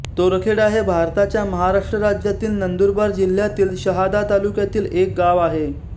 तोरखेडा हे भारताच्या महाराष्ट्र राज्यातील नंदुरबार जिल्ह्यातील शहादा तालुक्यातील एक गाव आहे